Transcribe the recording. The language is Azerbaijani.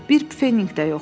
Bir pfenik də yoxdur.